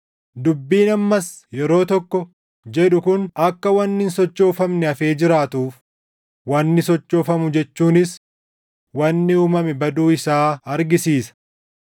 Dubbiin, “Ammas yeroo tokko” jedhu kun akka wanni hin sochoofamne hafee jiraatuuf, wanni sochoofamu jechuunis wanni uumame baduu isaa argisiisa.